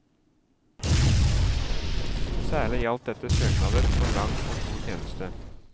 Særlig gjaldt dette søknader for lang og tro tjeneste.